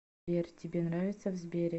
сбер тебе нравится в сбере